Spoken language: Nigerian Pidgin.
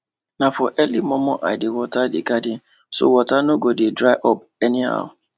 na for early momo i dey water the garden so water no go dey dry up anyhow